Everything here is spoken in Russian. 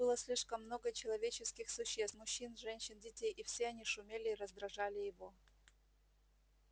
тут было слишком много человеческих существ мужчин женщин детей и все они шумели и раздражали его